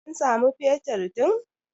an samu fetur din!